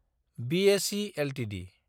BSE Ltd